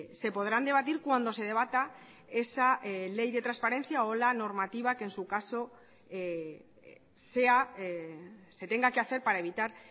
se podrán debatir cuando se debata esa ley de transparencia o la normativa que en su caso se tenga que hacer para evitar